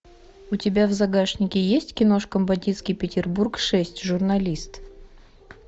у тебя в загашнике есть киношка бандитский петербург шесть журналист